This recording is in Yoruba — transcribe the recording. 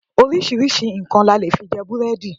Oríṣiríṣi nǹkan la lè fi jẹ búrẹ́dì.